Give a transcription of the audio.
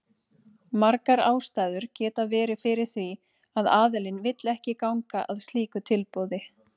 Margar ástæður geta verið fyrir því að aðilinn vill ekki ganga að slíku tilboði.